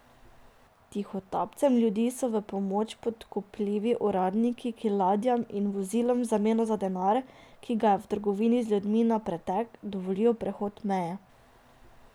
Tihotapcem ljudi so v pomoč podkupljivi uradniki, ki ladjam in vozilom v zameno za denar, ki ga je v trgovini z ljudmi na pretek, dovolijo prehod meje.